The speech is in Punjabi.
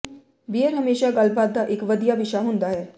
ਬੀਅਰ ਹਮੇਸ਼ਾ ਗੱਲਬਾਤ ਦਾ ਇਕ ਵਧੀਆ ਵਿਸ਼ਾ ਹੁੰਦਾ ਹੈ